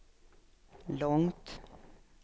långt